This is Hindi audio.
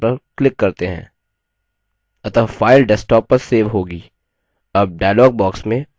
अतः file desktop पर so होगी